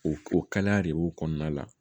O o kalaya de b'o kɔnɔna la